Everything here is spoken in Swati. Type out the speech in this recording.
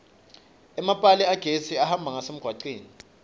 emapali agesi ahamba ngasemgwaceni